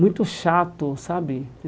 muito chato, sabe?